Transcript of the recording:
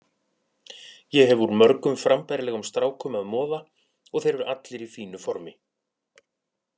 Ég hef úr mörgum frambærilegum strákum að moða og þeir eru allir í fínu formi.